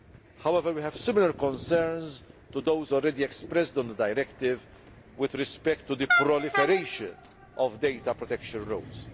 However, we have similar concerns to those already expressed on the directive with respect to the proliferation of data protection roles.